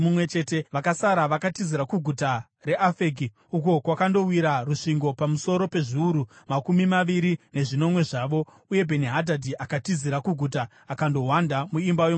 Vakasara vakatizira kuguta reAfeki, uko kwakandowira rusvingo pamusoro pezviuru makumi maviri nezvinomwe zvavo. Uye Bheni-Hadhadhi akatizira kuguta akandohwanda muimba yomukati.